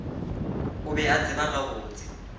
o be a tseba gabotse